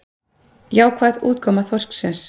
Jákvæð útkoma þorsksins